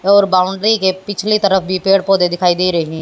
और बाउंड्री के पिछले तरफ भी पेड़ पौधे दिखाई दे रहे--